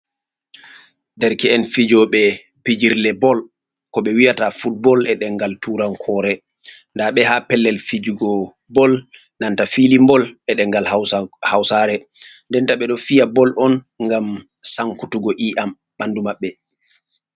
Dereke'en fijoɓe pijirle bol kosɗe, ɓe wiyata football e ɗemngal turankoore, nda ɓe haa pellel fijugo bol nanta filin bol e ɗemngal hausare denta ɓedo fiya bol on ngam sankutugo iyam ɓandu maɓɓe.